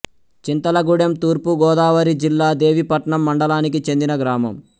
చింతలగూడెం తూర్పు గోదావరి జిల్లా దేవీపట్నం మండలానికి చెందిన గ్రామం